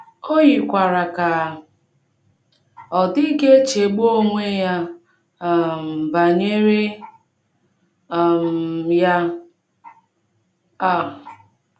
O yikwara ka ọ dịghị echegbu onwe ya um banyere um ya um.